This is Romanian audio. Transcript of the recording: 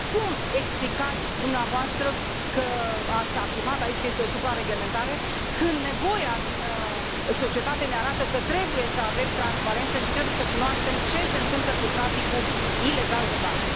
Cum explicați dumneavoastră, că ați afirmat aici că este o suprareglementare, când nevoia din societate ne arată că trebuie să avem transparență și trebuie să cunoaștem ce se întâmplă cu traficul ilegal de bani?